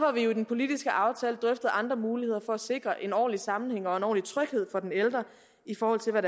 har vi i den politiske aftale drøftet andre muligheder for at sikre en ordentlig sammenhæng og en ordentlig tryghed for den ældre i forhold til hvad